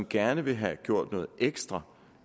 gerne vil have gjort noget ekstra